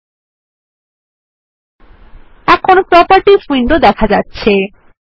000549 000548 এখন properties window দেখা যাচ্ছে